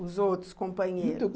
Os outros companheiros?